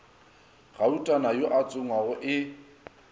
gautana yo a tsongwago e